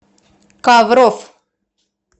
ковров